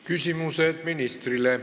Küsimused ministrile.